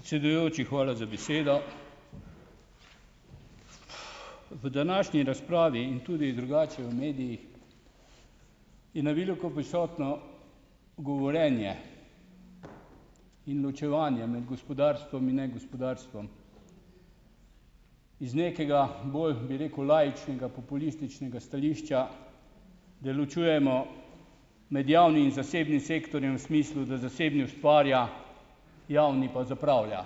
Predsedujoči, hvala za besedo. V današnji razpravi in tudi drugače v medijih je na veliko prisotno govorjenje in ločevanje med gospodarstvom in negospodarstvom. Iz nekega bolj, bi rekel, laičnega populističnega stališča, da ločujemo med javnim in zasebnim sektorjem v smislu, da zasebni ustvarja, javni pa zapravlja.